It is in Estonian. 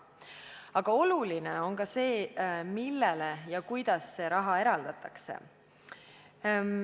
Aga oluline on ka see, millele ja kuidas seda raha eraldatakse.